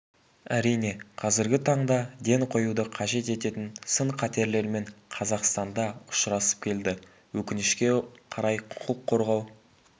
әрине қазіргі таңда ден қоюды қажет ететін сын-қатерлермен қазақстан да ұшырасып келді өкінішке қарай құқық қорғау